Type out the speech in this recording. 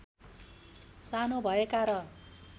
सानो भएका र